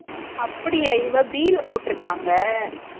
அப்டியா இவ b ல போட்டு இருக்காங்க